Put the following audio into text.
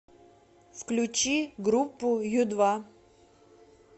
включи группу ю два